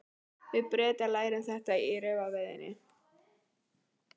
Við Bretar lærum þetta í refaveiðinni.